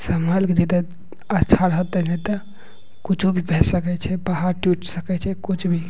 संभल के जेते अच्छा रहते ने ते कूछो भी फस सके छै पहाड़ टूट सके छै कुछ भी--